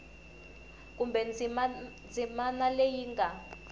kumbe ndzimana leyi yi nga